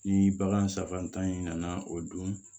Ni bagan sabanan tan in nana o don